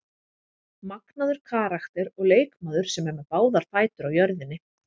Magnaður karakter og leikmaður sem er með báðar fætur á jörðinni.